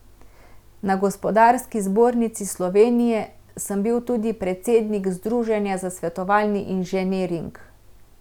Na Gospodarski zbornici Slovenije sem bil tudi predsednik Združenja za svetovalni inženiring.